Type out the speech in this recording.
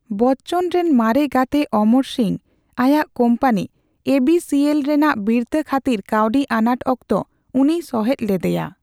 ᱵᱚᱪᱪᱚᱱ ᱨᱮᱟ ᱢᱟᱨᱮ ᱜᱟᱛᱮ ᱚᱢᱚᱨ ᱥᱤᱝ ᱟᱭᱟᱜ ᱠᱚᱢᱯᱟᱱᱤ ᱮᱹᱵᱤᱹᱥᱤᱹᱮᱞ ᱨᱮᱱᱟ ᱵᱤᱨᱛᱷᱟᱹ ᱠᱷᱟᱛᱤᱨ ᱠᱟᱹᱣᱰᱤ ᱟᱱᱟᱴ ᱚᱠᱛᱚ ᱩᱱᱤᱭ ᱥᱚᱦᱮᱫ ᱞᱮᱫᱮᱭᱟ ᱾